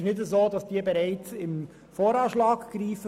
Es trifft nicht zu, dass diese bereits im VA 2018 greifen.